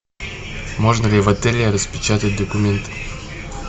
можно ли в отеле распечатать документы